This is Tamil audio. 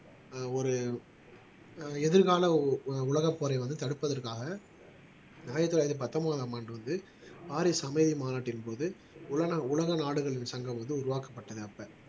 ஆஹ் ஒரு ஆஹ் எதிர்கால உலகப் போரை வந்து தடுப்பதற்காக ஆயிரத்து தொள்ளாயிரத்து பத்தொன்பதாம் ஆண்டு வந்து பாரிஸ் அமைதி மாநாட்டின்போது உலக நாடுகளின் சங்கம் வந்து உருவாக்கப்பட்டன அப்ப